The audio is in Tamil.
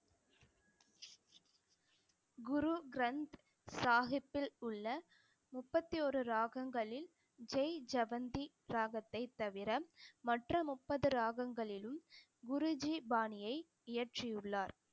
குரு கிரந்த சாஹிப்பில் உள்ள முப்பத்தி ஒரு ராகங்களில் ஜெய் ஜவந்தி சாகத்தை தவிர மற்ற முப்பது ராகங்களிலும் குருஜி பாணியை இயற்றியுள்ளார்